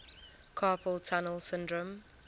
carpal tunnel syndrome